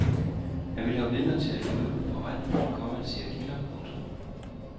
Han ville have vidner til at lyve for retten, komma siger kilder. punktum